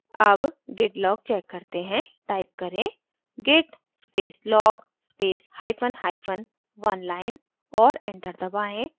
अब git log check करते हैं टाइप करें git space log space hyphen hyphen oneline और enter दबाएँ